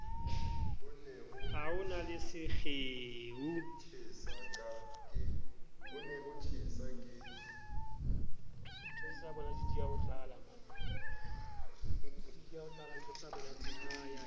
a ho na le sekgeo